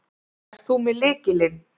Ert þú með lykilinn?